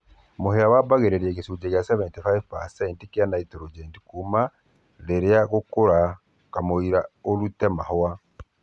Mũhĩa wambatagia gĩchunjĩ kwa 75% gĩa nitrogen kuma ihinda rĩa gũkũra kamũira irutĩte mahũa.